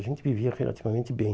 A gente vivia relativamente bem.